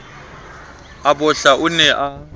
a bohla o ne a